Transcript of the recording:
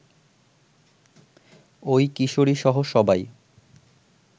ওই কিশোরীসহ সবাই